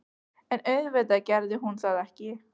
En auðvitað gerði hún það ekki.